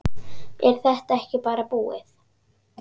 Er þetta ekki bara búið?